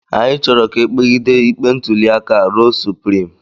Anyị chọrọ ka e kpegide ikpe ntụliaka a ruo suprim